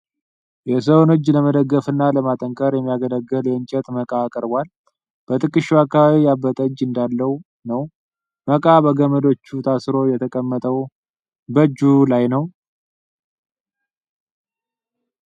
የሰውን እጅ ለመደገፍና ለማጠንከር የሚያገለግል የእንጨት መቃ ቀርቧል። በትከሻው አካባቢ ያበጠ እጅ እንዳለው ነው፡፡ መቃ በገመዶች ታስሮ የተቀመጠው በእጁ ላይ ነው።